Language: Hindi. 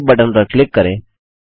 सेव बटन पर क्लिक करें